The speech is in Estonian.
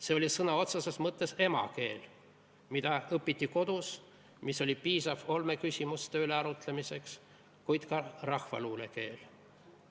See oli sõna otseses mõttes ema keel, mida õpiti kodus, mis oli piisav olmeküsimuste üle arutlemiseks, kuid ka rahvaluule keel.